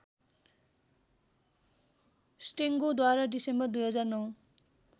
स्टेङ्गोद्वारा डिसेम्बर २००९